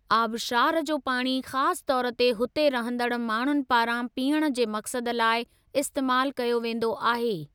आबशार जो पाणी ख़ासि तौर ते हुते रहंदड़ माण्हुनि पारां पीअण जे मक़सद लाइ इस्तेमालु कयो वेंदो आहे।